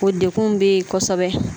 Ko dekun bɛ yen kosɛbɛ